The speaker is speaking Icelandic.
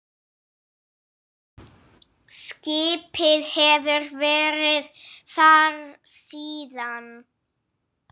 Skipið hefur verið þar síðan.